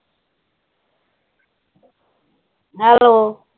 hello